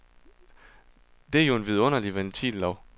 Det er jo en vidunderlig ventillov.